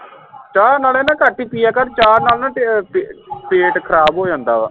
ਚਾ ਨਾਲੇ ਨਾ ਘੱਟ ਹੀ ਪਿਆ ਕਰ ਚਾ ਨਾਲ ਨਾ ਪੇ ਪੇਟ ਖਰਾਬ ਹੋ ਜਾਂਦਾ ਵਾ